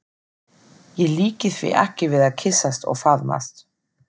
Ég líki því ekki við að kyssast og faðmast.